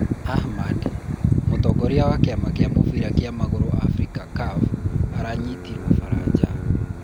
Ahmad : mūtongorīa wa kīama kīa mūbīra wa magūrū Afrīca CAF aranyītīrwo baraja